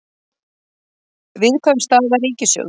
Viðkvæm staða ríkissjóðs